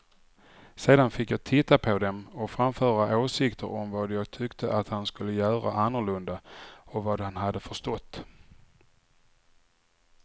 Sedan fick jag titta på dem och framföra åsikter om vad jag tyckte att han skulle göra annorlunda och vad han hade förstått.